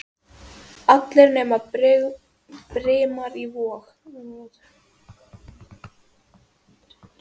Allir nema Brimar í Vogi.